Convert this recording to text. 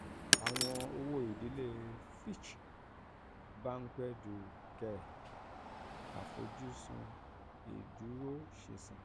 àwọn owó-ìdílé fitch um banque du um caire 'b+'; àfojúsùn ìdúróṣinṣin